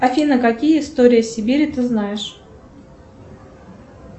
афина какие истории сибири ты знаешь